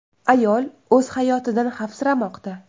Ayol o‘z hayotidan xavfsiramoqda.